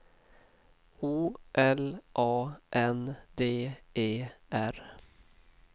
O L A N D E R